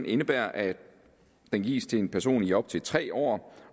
indebærer at den gives til en person i op til tre år